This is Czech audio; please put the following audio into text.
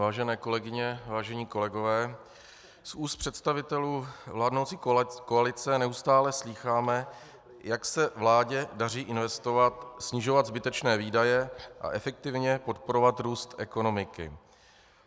Vážené kolegyně, vážení kolegové, z úst představitelů vládnoucí koalice neustále slýcháme, jak se vládě daří investovat, snižovat zbytečné výdaje a efektivně podporovat růst ekonomiky.